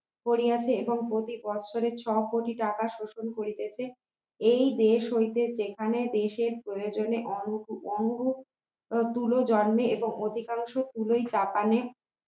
করিয়াছে এবং প্রতি বছরে ছয় কোটি টাকা শোষণ করিতেছে এই দেশ হইতে সেখানে দেশে প্রয়োজনে অনু অনুরূপ তুলো জন্মে এবং অধিকাংশ তুলো পাকানো